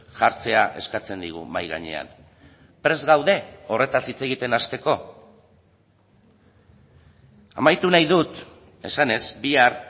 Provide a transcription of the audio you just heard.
jartzea eskatzen digu mahai gainean prest gaude horretaz hitz egiten hasteko amaitu nahi dut esanez bihar